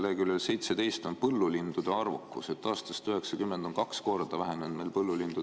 Leheküljel 17 on kirjas põllulindude arvukus: aastast 1990 on põllulindude arvukus kaks korda vähenenud.